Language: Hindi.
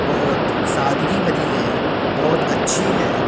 बोहोत सादगी भरी है बोहोत अच्छी है।